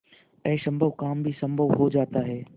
असम्भव काम भी संभव हो जाता है